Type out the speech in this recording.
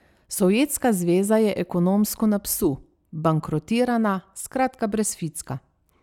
Sovjetska zveza je ekonomsko na psu, bankrotirana, skratka brez ficka.